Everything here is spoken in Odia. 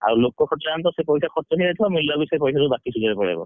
ଆଉ ଲୋକ ଖର୍ଚ୍ଚ ଆମେ ତ ସେ ପଇସା ଖର୍ଚ୍ଚ ହେଇ ଯାଇଥିବ ଆଉ ମିଳିଲା ବେଳକୁ ସେ ପଇସା ସବୁ ବାକି ସୁଜିବାରେ ପଳେଇବ।